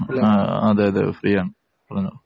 ആ, അതെയതെ ഫ്രീ ആണ്. പറഞ്ഞോ.